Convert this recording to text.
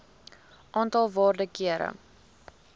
aantal waarde kere